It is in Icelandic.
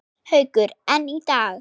Haukur: En í dag?